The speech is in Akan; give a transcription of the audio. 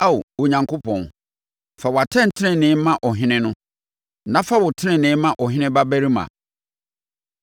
Ao Onyankopɔn, fa wʼatɛntenenee ma ɔhene no, na fa wo tenenee ma ɔhene babarima.